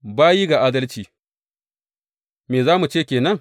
Bayi ga adalci Me za mu ce ke nan?